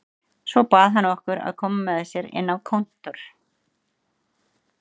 Svo bað hann okkur að koma með sér inn á kontór.